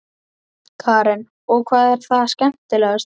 Karen: Og hvað er það skemmtilegasta?